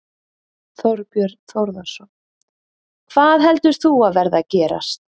Þorbjörn Þórðarson: Hvað heldur þú að verði að gerast?